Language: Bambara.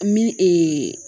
Min